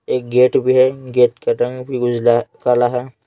एक गेट भी है गेट का रंग भी उजला काला है।